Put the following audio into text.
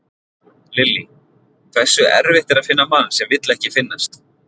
Lillý: Hversu erfitt er að finna mann sem vill ekki finnast?